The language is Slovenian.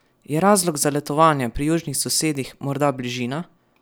Je razlog za letovanje pri južnih sosedih morda bližina?